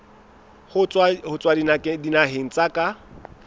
ho tswa dinaheng tsa ka